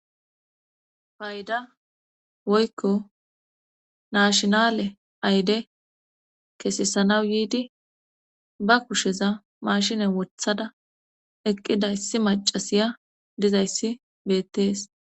payda woykko naashinale ayde kesesanaw biidi ba kusheza mashinen wothada eqqida yssi macasiya dizayssi beettees